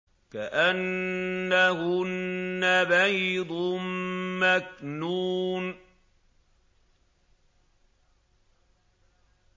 كَأَنَّهُنَّ بَيْضٌ مَّكْنُونٌ